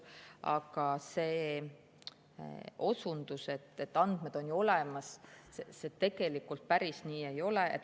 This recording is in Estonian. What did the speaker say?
Aga see osundus, et andmed on ju olemas – tegelikult päris nii ei ole.